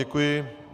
Děkuji.